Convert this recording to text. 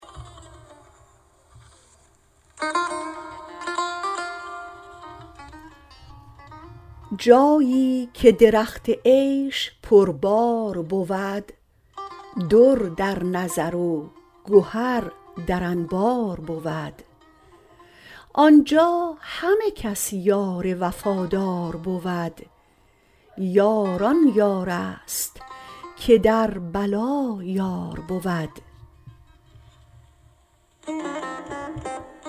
جایی که درخت عیش پربار بود در در نظر و گهر در انبار بود آنجا همه کس یار وفادار بود یار آن یار است که در بلا یار بود